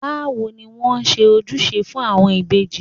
Báwo ni wón ṣe ń ojúṣe fún àwọn ìbejì?